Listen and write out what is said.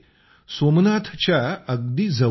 सोमनाथच्या अगदी जवळ आहे